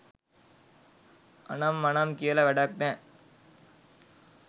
අනම් මනම් කියලා වැඩක් නෑ